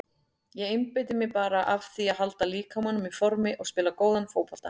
Ég einbeiti mér bara að því að halda líkamanum í formi og spila góðan fótbolta.